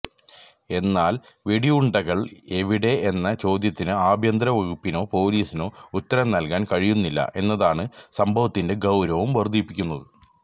എന്നാല് വെടിയുണ്ടകള് എവിടെ എന്ന ചോദ്യത്തിന് ആഭ്യന്തര വകുപ്പിനോ പോലീസിനോ ഉത്തരം നല്കാന് കഴിയുന്നില്ല എന്നതാണ് സംഭവത്തിന്റെ ഗൌരവം വര്ധിപ്പിക്കുന്നത്